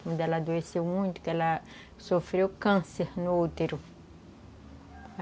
Quando ela adoeceu muito, que ela sofreu câncer no útero.